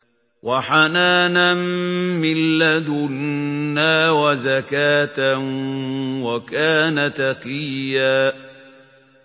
وَحَنَانًا مِّن لَّدُنَّا وَزَكَاةً ۖ وَكَانَ تَقِيًّا